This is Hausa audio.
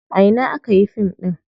A ina aka yi fim ɗin?